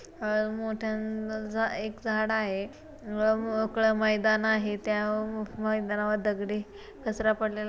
मोठ एक झाड आहे व मोकळं मैदान आहे त्या मैदानावर दगडी कचरा पडलेला--